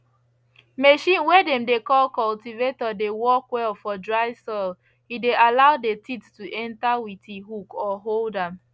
machine way dem dey call cultivator dey work well for dry soil e dey allow the teeth to enter with e hook or hold am